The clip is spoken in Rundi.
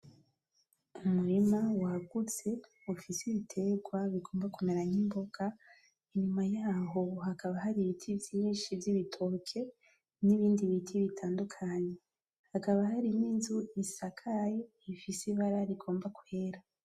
Umurima wagutse ufise ibiterwa bigomba kumera nk'imboga, inyuma yaho hakaba hari Ibiti vyinshi vy'Ibitoke, n'ibindi biti bitandukanye hakaba hari n'inzu isakaye ifise Ibara rigomba kwera.